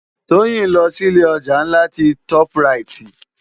Toyin n lò si ilé òjá lá ti tòp ráyit